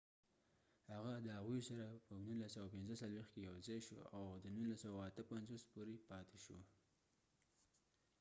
هغه د هغوي سره په 1945 کې یو ځای شو او د 1958 پورې پاتی شو